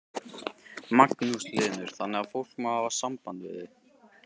Magnús Hlynur: Þannig að fólk má hafa samband við þig?